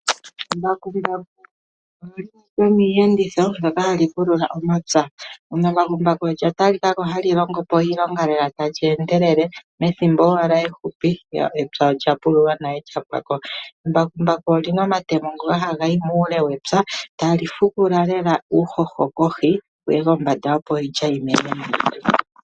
Embakumbaku olyo limwe lyomiiyenditho mbyoka hayi pulula omapya. Embakumbaku olya talikako hali longopo iilonga lela tali endelele methimbo owala efupi epya olyapululwa nale lyapwako. Embakumbaku olina omatemo ngoka ha gayi muule wepya. Talifuvula lela uuhoho kohi wuye kombanda opo iilya yimene